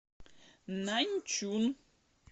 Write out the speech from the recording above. наньчун